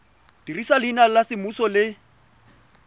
dirisa leina la semmuso le